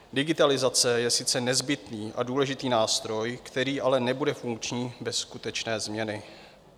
Digitalizace je sice nezbytný a důležitý nástroj, který ale nebude funkční bez skutečné změny.